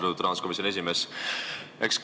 Austatud rahanduskomisjoni esimees!